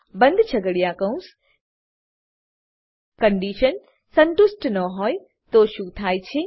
બંધ છગડીયા કૌંસ કન્ડીશન સંતુષ્ટ ન હોય તો શું થાય છે